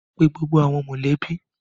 Pe gbogbo awọn mọlẹbi!